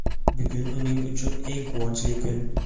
Bugun uning uchun eng quvonchli kun.